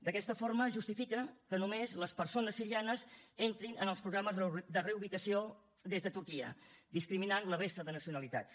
d’aquesta forma es justifica que només les persones sirianes entrin en els programes de reubicació des de turquia i es discriminen la resta de nacionalitats